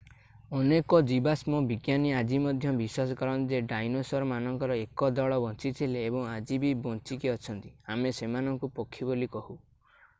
ଅନେକ ଜୀବାଶ୍ମ ବିଜ୍ଞାନୀ ଆଜି ମଧ୍ୟ ବିଶ୍ବାସ କରନ୍ତି ଯେ ଡାଇନୋସର ମାନଙ୍କର 1 ଦଳ ବଞ୍ଚିଥିଲେ ଏବଂ ଆଜି ବି ବଞ୍ଚିକି ଅଛନ୍ତି ଆମେ ସେମାନଙ୍କୁ ପକ୍ଷୀ ବୋଲି କହୁ